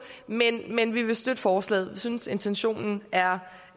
men men vi vil støtte forslaget vi synes at intentionen er